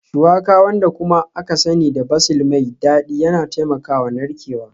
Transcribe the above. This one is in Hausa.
Shuwaka, wanda kuma aka sani da basil mai dadi yana taimakawa narkewa